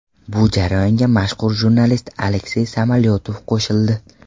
Bu jarayonga mashhur jurnalist Aleksey Samolyotov qo‘shildi.